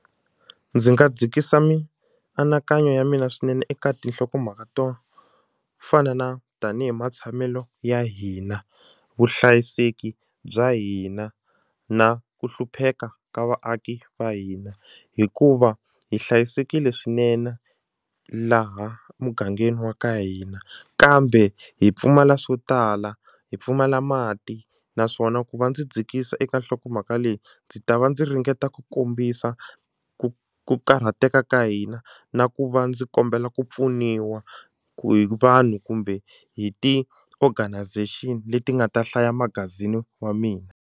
Ndzi nga dzikisa mianakanyo ya mina swinene eka tinhlokomhaka to fana na tanihi matshamelo ya hina vuhlayiseki bya hina na ku hlupheka ka vaaki va hina hikuva hi hlayisekile swinene laha mugangeni wa ka hina kambe hi pfumala swo tala hi pfumala mati naswona ku va ndzi dzikisa eka nhlokomhaka leyi ndzi ta va ndzi ringeta ku kombisa ku ku karhateka ka hina na ku va ndzi kombela ku pfuniwa hi vanhu kumbe hi ti-organisation leti nga ta hlaya magazini wa mina.